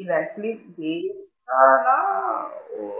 இல்ல actually நான்